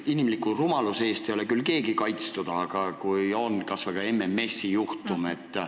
Inimliku rumaluse eest ei ole küll keegi kaitstud, näiteks kas või MMS-i juhtum.